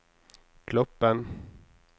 Gloppen